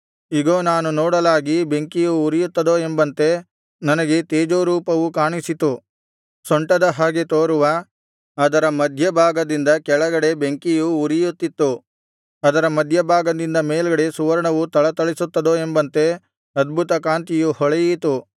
ಇಗೋ ನಾನು ನೋಡಲಾಗಿ ಬೆಂಕಿಯು ಉರಿಯುತ್ತದೋ ಎಂಬಂತೆ ನನಗೆ ತೇಜೋರೂಪವು ಕಾಣಿಸಿತು ಸೊಂಟದ ಹಾಗೆ ತೋರುವ ಅದರ ಮಧ್ಯಭಾಗದಿಂದ ಕೆಳಗಡೆ ಬೆಂಕಿಯು ಉರಿಯುತ್ತಿತ್ತು ಅದರ ಮಧ್ಯಭಾಗದಿಂದ ಮೇಲ್ಗಡೆ ಸುವರ್ಣವು ಥಳಥಳಿಸುತ್ತದೋ ಎಂಬಂತೆ ಅದ್ಭುತಕಾಂತಿಯು ಹೊಳೆಯಿತು